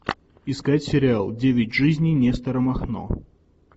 искать сериал девять жизней нестора махно